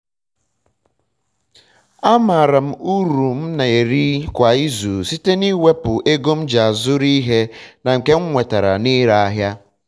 amaara m uru m na-eri kwa izu site n'iwepu ego m ji zụrụ ihe na nke m nwetara na-ire ahịa.